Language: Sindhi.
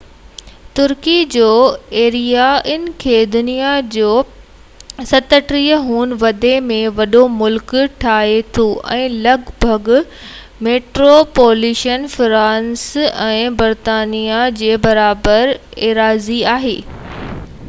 ترڪي جو ايريا ان کي دنيا جو 37 هون وڏي ۾ وڏو ملڪ ٺاهي ٿو ۽ لڳ ڀڳ ميٽروپوليٽن فرانس ۽ برطانيا ٻني جي برابر ايراضي آهي